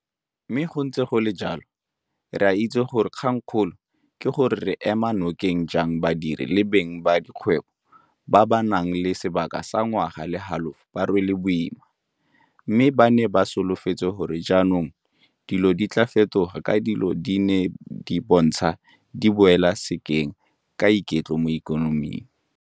Mme go ntse go le jalo re a itse gore kgangkgolo ke gore re ema nokeng jang badiri le beng ba dikgwebo ba ba nang le sebaka sa ngwaga le halofo ba rwele boima, mme ba ne ba solofetse gore jaanong dilo di tla fetoga ka dilo di ne di bontsha di boela sekeng ka iketlo mo ikonoming.